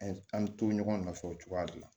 An bɛ to ɲɔgɔn nɔfɛ o cogoya de la